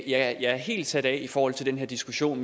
jeg er helt sat af i forhold til den her diskussion